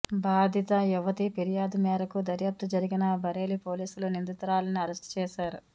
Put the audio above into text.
బాధిత యువతి ఫిర్యాదు మేరకు దర్యాప్తు జరిగిన బరేలి పోలీసులు నిందితురాలిని అరెస్ట్ చేశారు